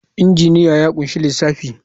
Injiniya ya ƙunshi lissafi.